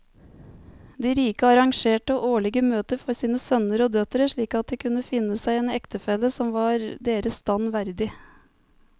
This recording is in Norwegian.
De rike arrangerte årlige møter for sine sønner og døtre slik at de kunne finne seg en ektefelle som var deres stand verdig.